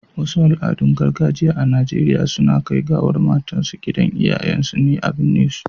Wasu Al, adun gargajiya a Nigeria suna Kai gawar matan su gidan iyayen su ne a birne su